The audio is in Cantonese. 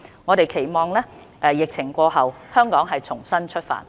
我們期望疫情過後，香港重新出發。